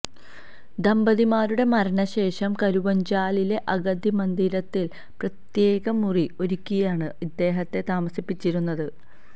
ദമ്പതിമാരുടെ മരണശേഷം കരുവഞ്ചാലിലെ അഗതിമന്ദിരത്തിൽ പ്രത്യേക മുറി ഒരുക്കിയാണ് ഇദ്ദേഹത്തെ താമസിപ്പിച്ചിരുന്നത്